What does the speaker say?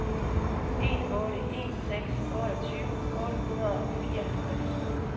en otte en seks otteogtyve otte hundrede og fireoghalvtreds